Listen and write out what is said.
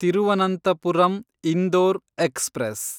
Thiruvananthapuram Indore express